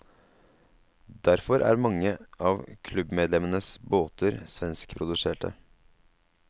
Derfor er mange av klubbmedlemmenes båter svenskproduserte.